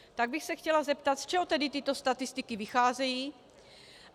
Tak bych se chtěla zeptat, z čeho tedy tyto statistiky vycházejí.